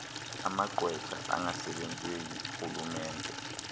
amagqwetha angasebenzeli rhulumente